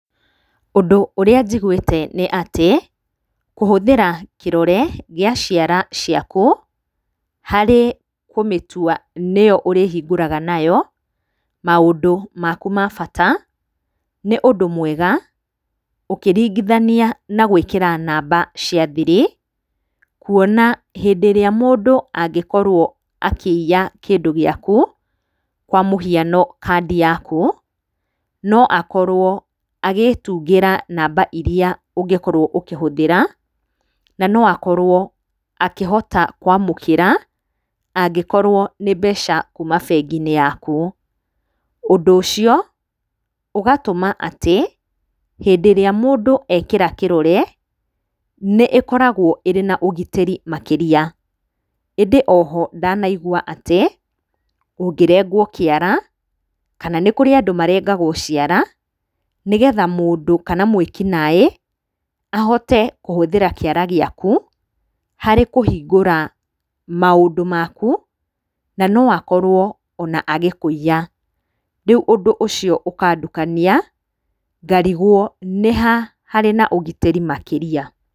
Ũndũ ũrĩa njiguĩte nĩ atĩ kũhũthĩra kĩrore gĩa ciara ciaku harĩ kũmĩtua nĩyo ũrĩhingũraga nayo maũndũ maku ma bata nĩ ũndũ mwega, ũkĩringithania na gwĩkĩra namba cia thiri kuona hĩndĩ ĩrĩa mũndũ angĩkorwo akĩiya kĩndũ gĩaku, kwa mũhiano kandi yaku no akorwo agĩtungĩra namba iria ũngĩkorwo ũkĩhũthĩra, na no akorwo akĩhota kwamũkĩra angĩkorwo nĩ mbeca kuma bengi-inĩ yaku. Ũndũ ũcio ũgatũma atĩ hĩndĩ ĩrĩa mũndũ ekĩra kĩrore nĩĩkoragwo ĩrĩ na ũgitĩri makĩria. ĩndĩ oho ndanaigwa atĩ ũngĩrengwo kĩara kana nĩkũrĩ andũ marengagwo ciara nĩgetha mũndũ kana mwĩki naĩ ahote kũhũthĩra kĩara gĩaku harĩ kũhingũra maũndũ maku na no akorwo ona agĩkũiya. Rĩu ũndũ ũcio ũkandukania ngarigwo nĩha harĩ na ũgitĩri makĩria.